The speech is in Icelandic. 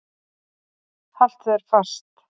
Haltu þér fast.